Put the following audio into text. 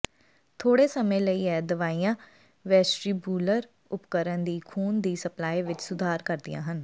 ਥੋੜ੍ਹੇ ਸਮੇਂ ਲਈ ਇਹ ਦਵਾਈਆਂ ਵੈਸਟਰੀਬੂਲਰ ਉਪਕਰਨ ਦੀ ਖੂਨ ਦੀ ਸਪਲਾਈ ਵਿਚ ਸੁਧਾਰ ਕਰਦੀਆਂ ਹਨ